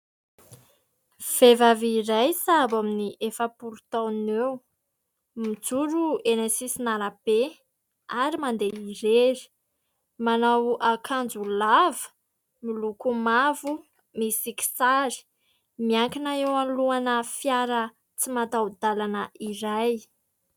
Vehivavy iray sahabo amin'ny efapolo taona eo, mijoro eny sisin'arabe ary mandeha irery, manao akanjo lava miloko mavo misy kisary, miankina eo alohana fiara tsy mataho-dalana iray.